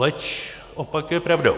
Leč opak je pravdou.